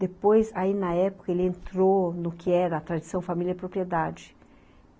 Depois, aí na época, ele entrou no que era a tradição família e propriedade.